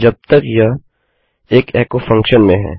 जब तक यह एक एको फंक्शन में है